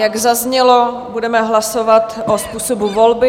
Jak zaznělo, budeme hlasovat o způsobu volby.